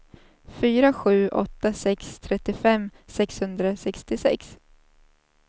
fyra sju åtta sex trettiofem sexhundrasextiosex